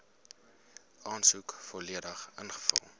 aansoek volledig ingevul